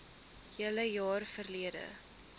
hele jaar verlede